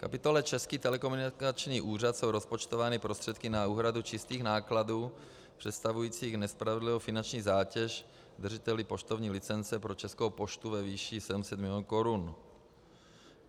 V kapitole Český telekomunikační úřad jsou rozpočtovány prostředky na úhradu čistých nákladů představujících nespravedlivou finanční zátěž držiteli poštovní licence pro Českou poštu ve výši 700 milionů korun.